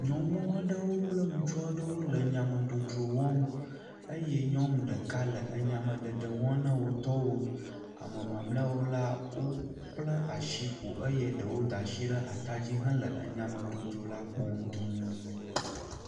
Nyɔnu aɖewo kple ŋutsuwo aɖewo le enyamedzodzro wɔm eye nyɔnu ɖeka le enyameɖeɖe wɔm ne wo tɔwo, ame mamlɛawo la, wobla asi ƒo eye ɖewo da asi ɖe atadzi hele enyadzodzro la kpɔm duu.